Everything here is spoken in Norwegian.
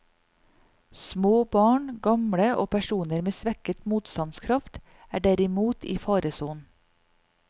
Små barn, gamle og personer med svekket motstandskraft, er derimot i faresonen.